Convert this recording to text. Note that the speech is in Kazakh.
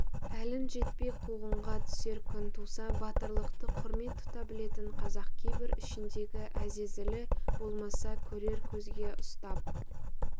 әлің жетпей қуғынға түсер күн туса батырлықты құрмет тұта білетін қазақ кейбір ішіндегі әзәзілі болмаса көрер көзге ұстап